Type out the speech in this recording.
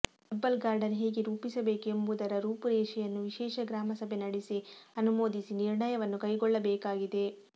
herbal garden ಹೇಗೆ ರೂಪಿಸಬೇಕು ಎಂಬುದರ ರೂಪುರೇಷೆಯನ್ನು ವಿಶೇಷ ಗ್ರಾಮ ಸಭೆ ನಡೆಸಿ ಅನುಮೋದಿಸಿ ನಿರ್ಣಯವನ್ನು ಕೈಗೊಳ್ಳಬೇಕಾಗಿದೆ